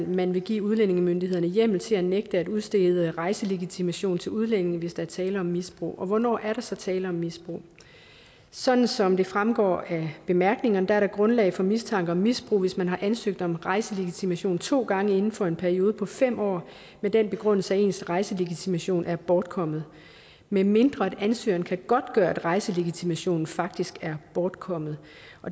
man vil give udlændingemyndighederne hjemmel til at nægte at udstede rejselegitimation til udlændinge hvis der er tale om misbrug hvornår er der så tale om misbrug sådan som det fremgår af bemærkningerne er der grundlag for mistanke om misbrug hvis man har ansøgt om rejselegitimation to gange inden for en periode på fem år med den begrundelse at ens rejselegitimation er bortkommet medmindre ansøgeren kan godtgøre at rejselegitimationen faktisk er bortkommet